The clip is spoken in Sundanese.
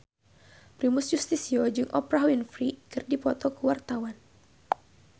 Primus Yustisio jeung Oprah Winfrey keur dipoto ku wartawan